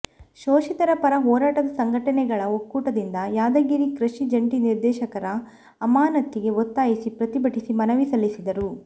ಶೋಷಿತರ ಪರ ಹೋರಾಟದ ಸಂಘಟನೆಗಳ ಒಕ್ಕೂಟದಿಂದ ಯಾದಗಿರಿ ಕೃಷಿ ಜಂಟಿ ನಿರ್ದೇಶಕರ ಅಮಾನತ್ತಿಗೆ ಒತ್ತಾಯಿಸಿ ಪ್ರತಿಭಟಿಸಿ ಮನವಿ ಸಲ್ಲಿಸಿದರು